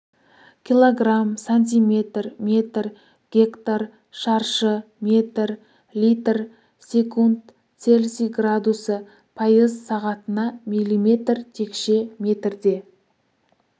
килограмм сантиметр метр гектар шаршы метр литр секунд цельсий градусы пайыз сағатына миллиметр текше метрде